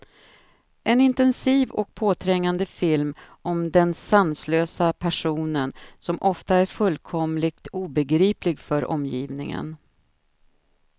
En intensiv och påträngande film om den sanslösa passionen, som ofta är fullkomligt obegriplig för omgivningen.